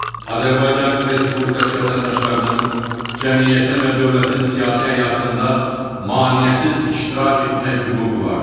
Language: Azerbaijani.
Azərbaycan Respublikası vətəndaşlarının cəmiyyətin və dövlətin siyasi həyatında maneəsiz iştirak etmək hüququ vardır.